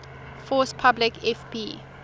force publique fp